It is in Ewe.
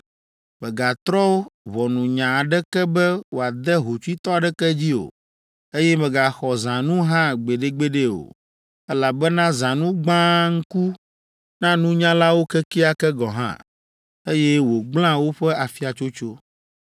Mègatrɔ ʋɔnunya aɖeke be wòade hotsuitɔ aɖeke dzi o, eye mègaxɔ zãnu hã gbeɖegbeɖe o, elabena zãnu gbãa ŋku na nunyalawo kekeake gɔ̃ hã, eye wògblẽa woƒe afiatsotso.